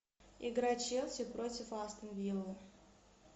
игра челси против астон вилла